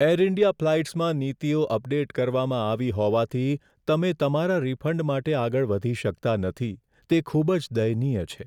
Air India ફ્લાઇટ્સમાં નીતિઓ update કરવામાં આવી હોવાથી, તમે તમારા રિફંડ માટે આગળ વધી શકતા નથી, તે ખૂબ જ દયનીય છે.